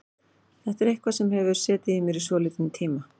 Þetta er eitthvað sem hefur setið í mér í svolítinn tíma.